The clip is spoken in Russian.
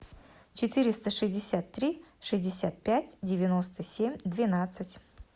четыреста шестьдесят три шестьдесят пять девяносто семь двенадцать